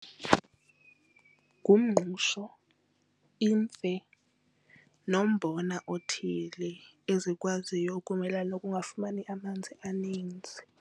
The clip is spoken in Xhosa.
Ngumngqusho, imfe nombona othile ezikwaziyo ukumelana nokungafumani amanzi amaninzi.